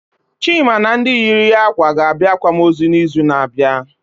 Chima na ndị yiri ya ákwà ga abịa akwamozu na izu na abịa